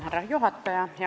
Härra juhataja!